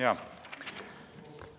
Jaa.